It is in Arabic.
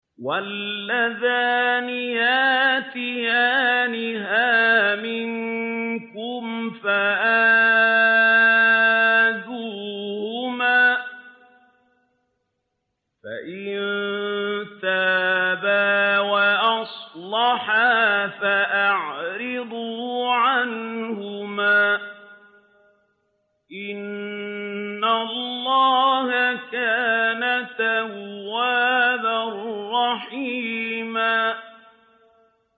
وَاللَّذَانِ يَأْتِيَانِهَا مِنكُمْ فَآذُوهُمَا ۖ فَإِن تَابَا وَأَصْلَحَا فَأَعْرِضُوا عَنْهُمَا ۗ إِنَّ اللَّهَ كَانَ تَوَّابًا رَّحِيمًا